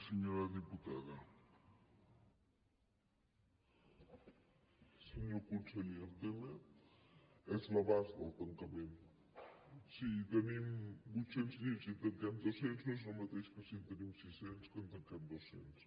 senyor conseller el tema és l’abast del tancament si tenim vuit cents llits i en tanquem dos cents no és el mateix que si en tenim sis cents i en tanquem doscents